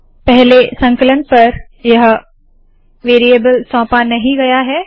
पहले संकलन पर यह वेरीयेबल सौंपा नहीं गया है